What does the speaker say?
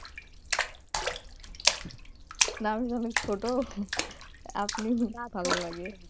না আমি তো অনেক ছোট আপনি ভালো লাগে